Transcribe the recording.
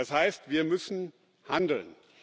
Das heißt, wir müssen handeln.